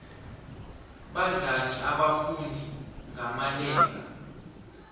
badlani abafundi ngamalenga